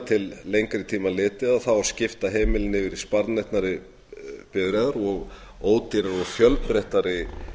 til lengri tíma litið skipta heimilin yfir í sparneytnari bifreiðar og ódýrari og fjölbreyttari